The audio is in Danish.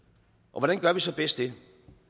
hvordan gør vi så bedst det